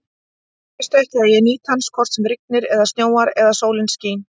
Veistu ekki, að ég nýt hans hvort sem rignir eða snjóar eða sólin skín?